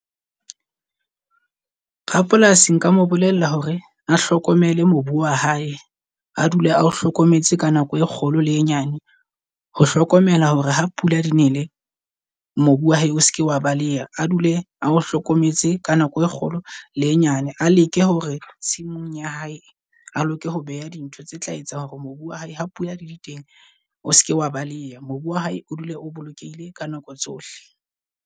Rapolasi nka mo bolella hore a hlokomele mobu wa hae a dule a o hlokometse ka nako e kgolo le e nyane. Ho hlokomela hore ha pula di nele mobu wa hae o seke wa baleha a dule a o hlokometse ka nako e kgolo le e nyane. A leke hore tshimong ya hae a leke ho beha dintho tse tla etsang hore mobu wa hae ha pula di le teng mobu wa hae o se ke wa baleha. Mobu wa hae o dule o bolokehile ka nako tsohle.